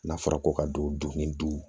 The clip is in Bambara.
N'a fɔra ko ka don ni du